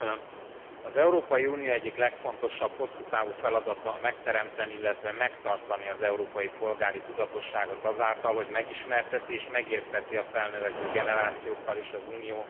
Elnök Úr! Az Európai Unió egyik legfontosabb, hosszú távú feladata megteremteni, illetve megtartani az európai polgári tudatosságot azáltal, hogy megismerteti és megérteti a felnövekvő generációkkal is az Unió